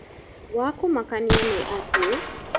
Wa kũmakania nĩ atĩ